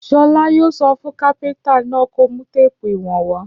Ṣọlá yóò sọ fún kápẹ́ńtà náà kó mú téépù ìwọ̀n wá.